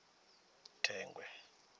thengwe